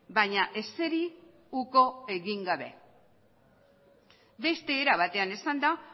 baina ezeri uko egin gabe beste era batean esanda